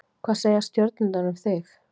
hvað segja stjörnurnar um þig